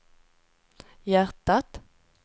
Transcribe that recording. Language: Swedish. hjärtat